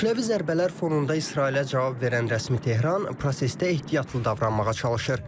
Kütləvi zərbələr fonunda İsrailə cavab verən rəsmi Tehran prosesdə ehtiyatlı davranmağa çalışır.